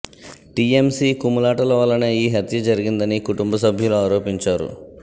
TMC కుమ్ములాటల వల్లనే ఈ హత్య జరిగిందని కుటుంబ సభ్యులు ఆరోపించారు